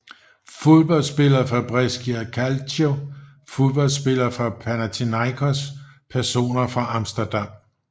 Fodboldspillere fra Brescia Calcio Fodboldspillere fra Panathinaikos Personer fra Amsterdam